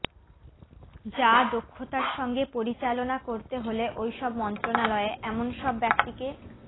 যা দক্ষতার সঙ্গে পরিচালনা করতে হলে ওইসব মন্ত্রণালয়ে এমন সব ব্যক্তিকে